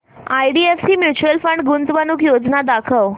IDFC mutual fund गुंतवणूक योजना दाखव